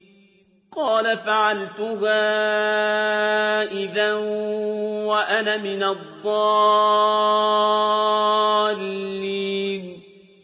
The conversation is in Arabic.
قَالَ فَعَلْتُهَا إِذًا وَأَنَا مِنَ الضَّالِّينَ